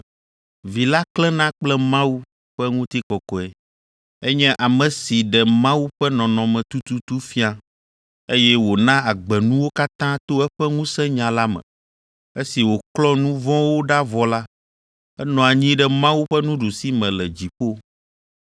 Vi la klẽna kple Mawu ƒe ŋutikɔkɔe. Enye ame si ɖe Mawu ƒe nɔnɔme tututu fia, eye wòna agbe nuwo katã to eƒe ŋusẽnya la me. Esi wòklɔ nu vɔ̃wo ɖa vɔ la, enɔ anyi ɖe Mawu ƒe nuɖusime le dziƒo.